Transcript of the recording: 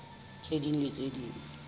tse ding le tse ding